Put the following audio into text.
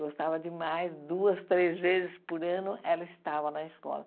Gostava demais, duas, três vezes por ano ela estava na escola.